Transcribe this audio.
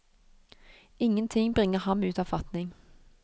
Ingenting bringer ham ut av fatning.